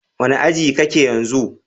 Wani aji ka ke yanzu?